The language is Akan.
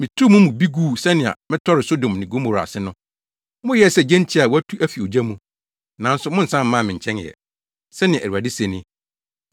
“Mituu mo mu bi guu sɛnea metɔree Sodom ne Gomora ase no. Moyɛɛ sɛ gyentia a wɔatu afi ogya mu. Nanso monnsan mmaa me nkyɛn ɛ,” sɛnea Awurade se ni.